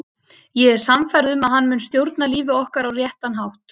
Ég er sannfærð um að hann mun stjórna lífi okkar á réttan hátt.